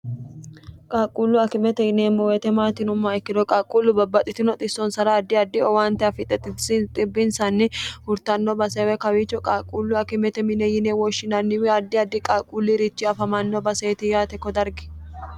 qaaqquullu akimete yineemmo weete maatinumma ikkiro qaaqquullu babbaxxitino xissonsara addi addi owaante afixe binsanni hurtanno baseewe kawiicho qaaqquullu akimete mine yine woshshinanniwi addi addi qalquulli irichi afamanno baseeti yaate ko dargi